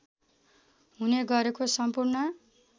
हुने गरेको सम्पूर्ण